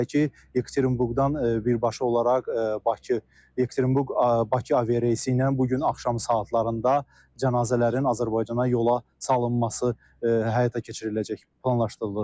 Belə ki, Yekaterinburqdan birbaşa olaraq Bakı Yekaterinburq-Bakı avi reysi ilə bu gün axşam saatlarında cənazələrin Azərbaycana yola salınması həyata keçiriləcək, planlaşdırılır.